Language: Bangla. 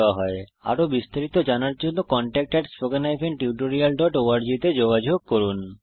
আরো বিস্তারিত জানার জন্য contact at spoken hyphen tutorial dot org তে যোগযোগ করুন